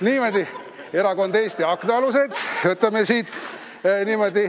Niimoodi, erakond Eesti Aknaalused.